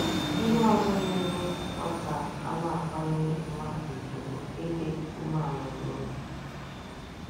Ihe ọzọ na - emekwa ka a na - akwanyere mmadụ ùgwù bụ ịdị umeala n’obi.